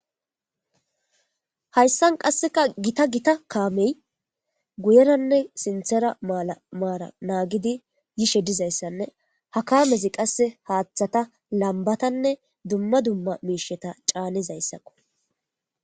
hayssan qasseka gita gita kaamey guyeranne sinthera malamaala naagidi yishe dizayssanne ha kaamezi qasse haaththata lambatanne dumma dumma miisheta caanizayssakko